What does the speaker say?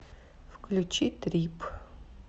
включи трип